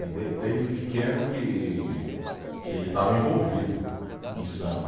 E de desde pequeno que, que ele estava envolvido em samba.